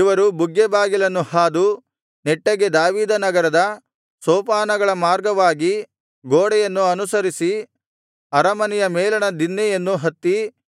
ಇವರು ಬುಗ್ಗೆ ಬಾಗಿಲನ್ನು ಹಾದು ನೆಟ್ಟಗೆ ದಾವೀದನಗರದ ಸೋಪಾನಗಳ ಮಾರ್ಗವಾಗಿ ಗೋಡೆಯನ್ನು ಅನುಸರಿಸಿ ಅರಮನೆಯ ಮೇಲಣ ದಿನ್ನೆಯನ್ನು ಹತ್ತಿ